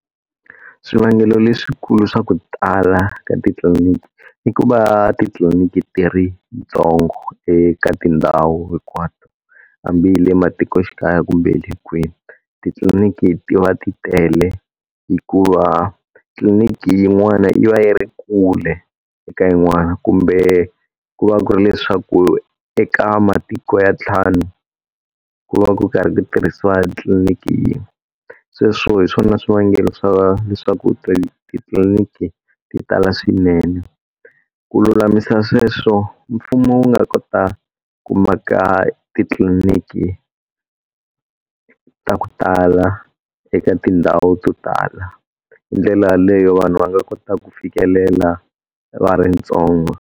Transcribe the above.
Swivangelo leswikulu swa ku tala ka titliliniki ni ku va titliliniki ti ri tintsongo eka tindhawu hinkwato. Hambi le matikoxikaya kumbe hi le kwini, titliliniki ti va ti tele. Hikuva tliliniki yin'wana yi va yi ri kule eka yin'wana kumbe ku va ku ri leswaku eka matiko ya ntlhanu, ku va ku karhi ku tirhisiwa tliliniki yin'we. Sweswo hi swona swivangelo swa leswaku titliliniki ti tala swinene. Ku lulamisa sweswo mfumo wu nga kota ku maka titliliniki ta ku tala eka tindhawu to tala. Hi ndlela yaleyo vanhu va nga kota ku fikelela va ri ntsongo.